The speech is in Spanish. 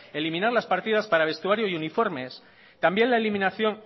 eliminar las partidas para vestuario y uniformes también la eliminación